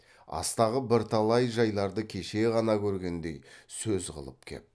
астағы бірталай жайларды кеше ғана көргендей сөз қылып кеп